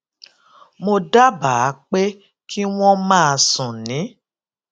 mo dábàá pé kí wón máa sùn ní